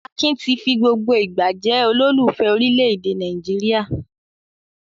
Akin ti fi gbogbo ìgbà jẹ́ olólùfẹ́ orílẹ̀-èdè Nàìjíríà.